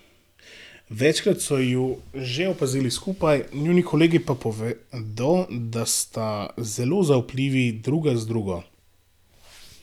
Večkrat so ju že opazili skupaj, njuni kolegi pa povedo, da sta zelo zaupljivi druga z drugo.